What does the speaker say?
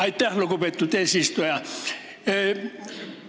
Aitäh, lugupeetud eesistuja!